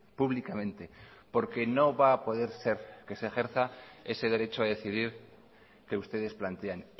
públicamente porque no va a poder ser que se ejerza ese derecho a decidir que ustedes plantean